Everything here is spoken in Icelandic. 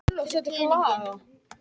Brotinn lykill, lítið framlengdur.